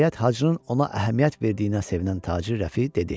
Nəhayət, Hacırın ona əhəmiyyət verdiyinə sevinən tacir Rəfi dedi.